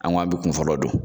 An go an be kun fɔlɔ don